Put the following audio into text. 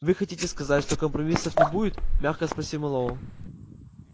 вы хотите сказать что компромиссов не будет мягко спросил мэллоу